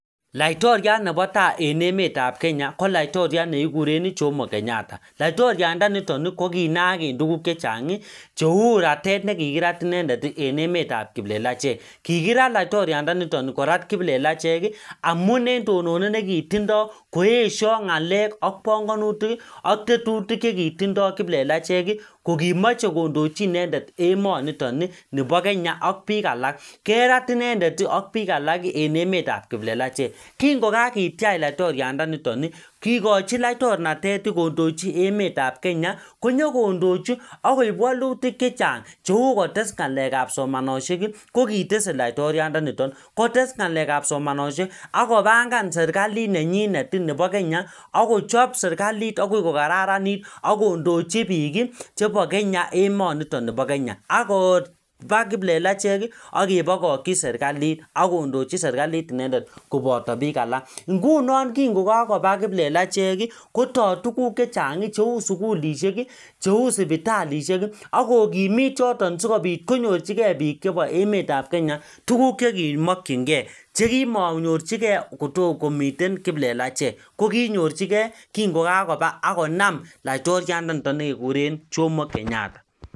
Laitoriat nebo tai en emetab Kenya ko laitoriat nekikureen Jomo Kenyatta laitoriandanito ko kinaak eng' tuguk cheng' cheu ratet nekikirat inendet eng' emetab kiplelachek kikirat laitoriandanito kora kiplelachek amun eng' tononet nekitindoi koeshoi ng'alek ak banganutik ak tetutik chekitindoi kiplelachek ko kimochei kondochi inendet emonito nebo Kenya ak biik alak kerat inendet ak biik alak eng' emetab kiplelachek kingokaketyach laitoriandaniton kikochi laitornated kondochi emetab Kenya konyikondochi akoib wolutik chechang' cheu kotes ng'alekab somanoshek ko kitesei laitoriandanito kotes ng'alekab somanoshek akobangan serikalit nenyinet nebo Kenya akochop serikalit akoi kokararanit akondochi biik chebo Kenya emonito nebo Kenya akoba kiplelachek akebokokchi serikalit akondochi serikalit inendet koboto biik alak ngunon kingukakoba kiplelachek kotai tuguk chechang' cheu sukulishek cheu sipitalishek akokimit choto sikobit konyorchingei biik chebo emetab Kenya tuguk chekimokchingei chekimanyorchigei kitten kiplelachek ko konyorchingei kingokakoba akonam laitoriandanito nekekuren Jomo Kenyatta